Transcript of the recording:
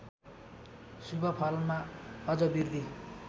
शुभफलमा अझ बृद्धि